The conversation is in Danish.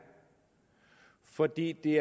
fordi det